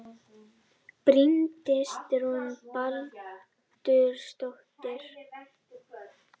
Bryndís Rún Baldursdóttir